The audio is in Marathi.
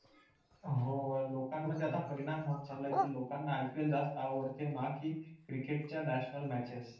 हो लोकांमध्ये आता परिणाम होत चालला आहे कि लोकांना IPL जास्त आवडते नाकी cricket च्या national matches